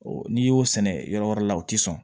N'i y'o sɛnɛ yɔrɔ wɛrɛ la o ti sɔn